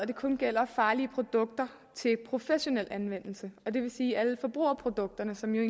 det kun gælder farlige produkter til professionel anvendelse det vil sige at alle forbrugerprodukterne som jo